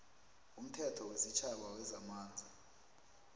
umthetho wesitjhaba wezamanzi